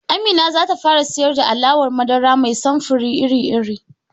Amina zata fara siyar da alawar madara mai samfir iri-iri